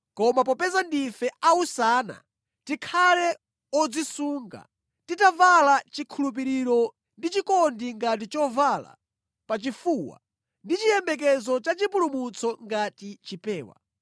Koma popeza ndife a usana, tikhale odzisunga, titavala chikhulupiriro ndi chikondi ngati chovala pachifuwa, ndi chiyembekezo cha chipulumutso ngati chipewa.